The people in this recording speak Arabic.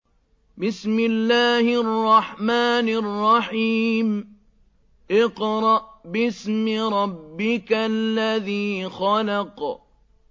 اقْرَأْ بِاسْمِ رَبِّكَ الَّذِي خَلَقَ